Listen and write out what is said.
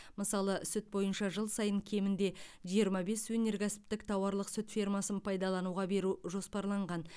мысалы сүт бойынша жыл сайын кемінде жиырма бес өнеркәсіптік тауарлық сүт фермасын пайдалануға беру жоспарланған